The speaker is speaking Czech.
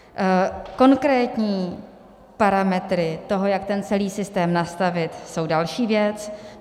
Konkrétní parametry toho, jak ten celý systém nastavit, jsou další věc.